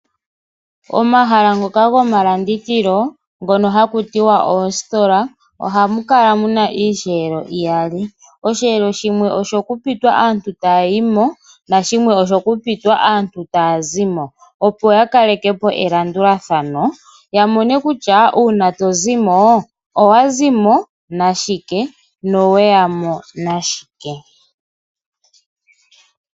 Omahala ngoka gomalandithilo hha kutiwa oositola ohamu kala muna iiyelo iyali shimwe osho kupitwa aantu taya yimo shimwe otaya zimo, opo ya kalekepo elandulathano ya mone kutya uuna tozimo owazimo nashike no weyamo nashike.